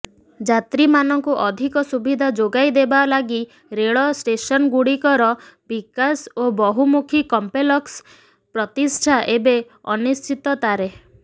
ଯାତ୍ରୀମାନଙ୍କୁ ଅଧିକ ସୁବିଧା ଯୋଗାଇଦେବା ଲାଗି ରେଳ ଷ୍ଟେସନଗୁଡ଼ିକର ବିକାଶ ଓ ବହୁମୁଖୀ କମ୍ପେ୍ଲକ୍ସ ପ୍ରତିଷ୍ଠା ଏବେ ଅନିଶ୍ଚିତତାରେ